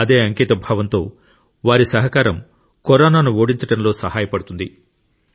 అదే అంకితభావంతో వారి సహకారం కరోనాను ఓడించడంలో సహాయపడుతుంది